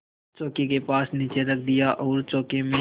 चौकी के पास नीचे रख दिया और चौके में